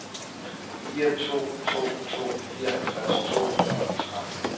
fire to to to fireoghalvtreds to hundrede og tretten